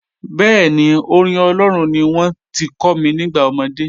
Bẹẹ̀ni, orin Olóòrun ní wọn ti kò mi nígbà omọdé.